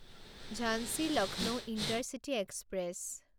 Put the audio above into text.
Jhansi Lucknow intercity express